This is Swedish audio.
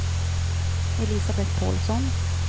Elisabeth Pålsson